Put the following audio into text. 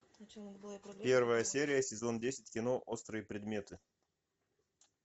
первая серия сезон десять кино острые предметы